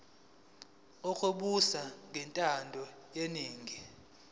lokubusa ngokwentando yeningi